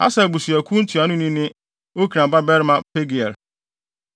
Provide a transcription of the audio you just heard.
Aser abusuakuw ntuanoni ne Okran babarima Pagiel;